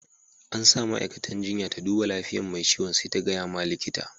An sa ma'aikatan jinya ta duba lafiyan mai ciwon sai ta gaya ma likita.